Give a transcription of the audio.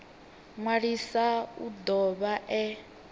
ṅwalisa u do vha e